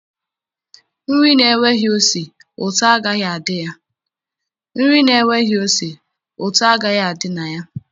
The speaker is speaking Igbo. Nri na-enweghị ose ụtọ agaghị adị na ya.